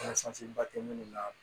ba tɛ munnu na